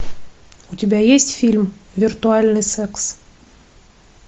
у тебя есть фильм виртуальный секс